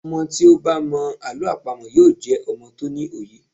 Ọmọ tí ó bá mọ Àlọ́ àpamọ̀ yóò jẹ́ ọmọ tó ní òye.